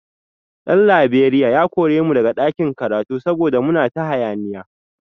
Dan Laberiya ya kore mu daga ɗakin karatu saboda muna ta hayaniya